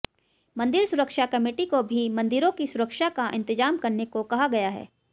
मंदिर सुरक्षा कमेटी को भी मंदिरों की सुरक्षा का इंतजाम करने को कहा गया है